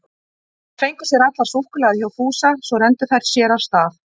Þær fengu sér allar súkkulaði hjá Fúsa, svo renndu þær sér af stað.